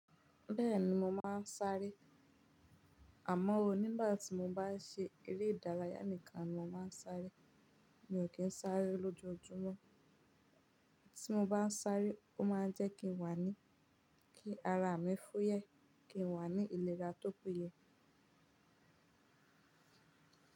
Bẹ́ẹ̀ni mo máa ń sáré. Àmọ́ o, nígbà tí mo bá ṣe eré ìdárayá nìkan ni mo máa ń sáré. Mi ò kí ń sáré lójoojúmọ́. Tí mo bá ń sáré, ó máa ń jẹ́ kí n waní, kí ara mi fú yẹ, kí n waní ìlera tó pe ye.